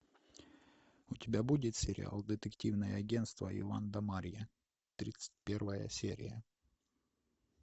у тебя будет сериал детективное агентство иван да марья тридцать первая серия